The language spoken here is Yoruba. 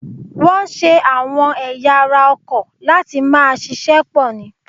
Wọn ṣe àwọn ẹ̀ya ara ọkọ̀ láti máa ṣíṣe pò ni.